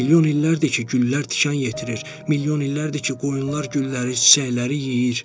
Milyon illərdir ki, güllər tikan yetirir, milyon illərdir ki, qoyunlar gülləri, çiçəkləri yeyir.